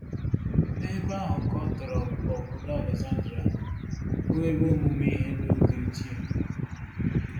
N’ebe ahụ ka ọ tọrọ obodo Alexandria, bụ́ ebe ọmụmụ ihe n’oge ochie.